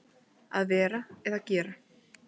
Að vera eða gera